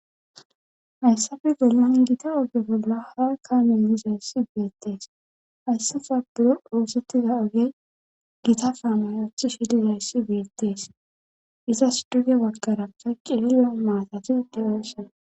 Hayssafe gelman gita oge bolla ha kaamennizayssi beyettees hayssafa buro oosettiza oge gita faamayothi shidizayssi beettees izas duge waggaraka qilile maatati deeeshena